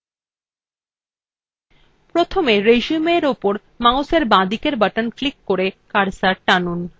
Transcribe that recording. প্রথমে resumeএর upor mouseএর বাঁদিকের button ক্লিক করে কার্সর টানুন